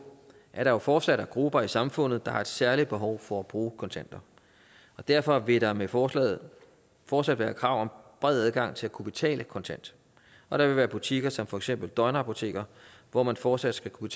at der jo fortsat er grupper i samfundet der har et særligt behov for at bruge kontanter derfor vil der med forslaget fortsat være krav om bred adgang til at kunne betale kontant og der vil være butikker som for eksempel døgnapoteker hvor man fortsat skal kunne